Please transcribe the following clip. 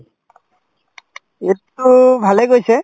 ঈদতো ভালে গৈছে।